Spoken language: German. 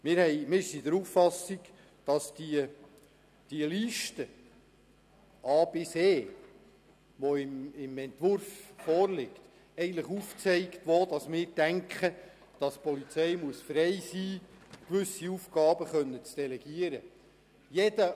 Wir sind der Auffassung, dass die Liste a–e, die im Entwurf vorliegt, eigentlich aufzeigt, wo unseres Erachtens die Polizei frei sein muss, gewisse Aufgaben delegieren zu können.